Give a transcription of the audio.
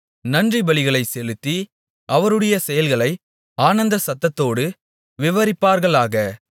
நன்றிபலிகளைச் செலுத்தி அவருடைய செயல்களை ஆனந்த சத்தத்தோடு விவரிப்பார்களாக